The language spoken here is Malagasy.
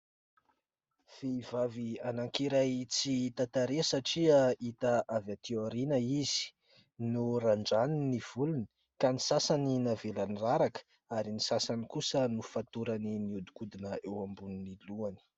Vehivavy anankiray tsy hita tarehy satria hita avy aty aoriana izy, norandrany ny volony, ka ny sasany navelany raraka ary ny sasany kosa nofatorany nihodikodina eo ambonin'ny lohany.